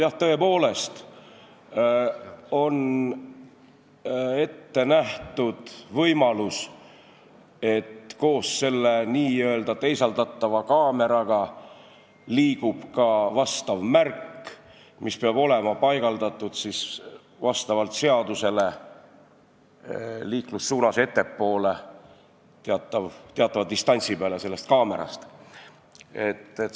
Jah, tõepoolest on ette nähtud võimalus, et koos selle n-ö teisaldatava kaameraga liigub ka märk, mis peab vastavalt seadusele olema paigaldatud liiklussuunas ettepoole, teatava distantsi peale sellest kaamerast.